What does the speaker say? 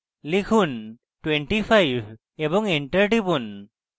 লিখুন 25 এবং enter টিপুন